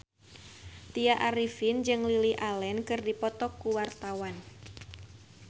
Tya Arifin jeung Lily Allen keur dipoto ku wartawan